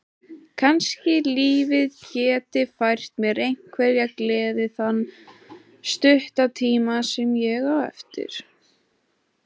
Kannski lífið geti fært mér einhverja gleði þann stutta tíma sem ég á eftir.